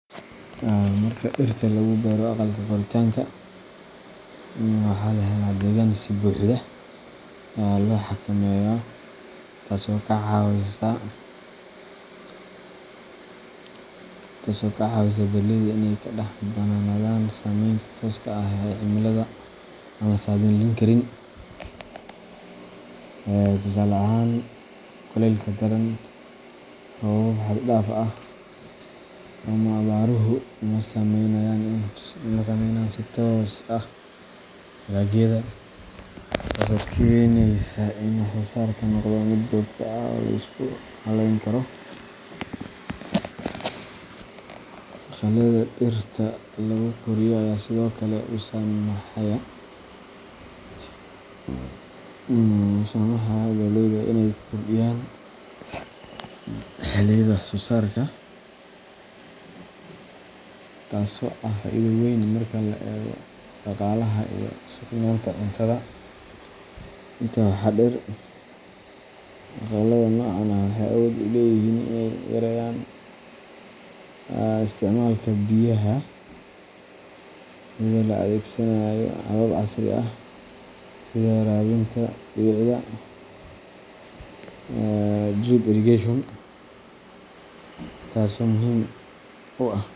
Marka dhirta lagu beero aqalka koritaanka, waxaa la helaa deegaan si buuxda loo xakameeyo, taas oo ka caawisa beeraleyda inay ka madax bannaanadaan saameynta tooska ah ee cimilada aan la saadaalin karin. Tusaale ahaan, kulaylka daran, roobab xad dhaaf ah, ama abaaruhu ma saamaynayaan si toos ah dalagyada, taasoo keenaysa in wax-soosaarku noqdo mid joogto ah oo la isku hallayn karo. Aqallada dhirta lagu koriyo ayaa sidoo kale u saamaxaaya beeraleyda inay kordhiyaan xilliyada wax-soosaarka, taasoo ah faa'iido weyn marka la eego dhaqaalaha iyo sugnaanta cuntada. Intaa waxaa dheer, aqallada noocan ah waxay awood u leeyihiin inay yareeyaan isticmaalka biyaha iyadoo la adeegsanayo habab casri ah sida waraabinta dhibicda drip irrigation, taas oo muhiim u ah .